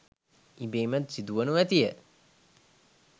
ඉබේම සිදුවනු ඇතිය.